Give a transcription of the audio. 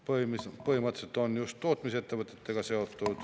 Põhimõtteliselt on see seotud just tootmisettevõtetega.